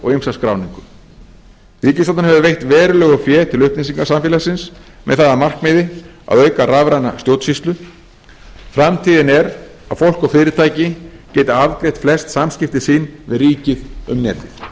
og ýmsa skráningu ríkisstjórnin hefur veitt verulegu fé til upplýsingasamfélagsins með það að markmiði að auka rafræna stjórnsýslu framtíðin er að fólk og fyrirtæki geti afgreitt flest samskipti sín við ríkið um netið